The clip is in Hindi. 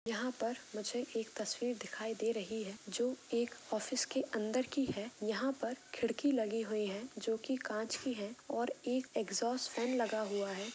यहा पर मुझे एक तस्वीर दिखाई दे रही है जो एक ऑफिस के अंदर की है यहा पर खिड़की लगी हुई है जो की कांच की है और एक एग्जॉस्ट फेन लगा हुआ है।